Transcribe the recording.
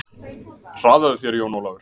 Hraðaðu þér Jón Ólafur.